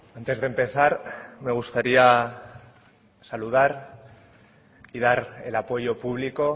antes de empezar me gustaría saludar y dar el apoyo público